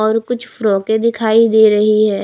और कुछ फ्रॉके दिखाई दे रही है।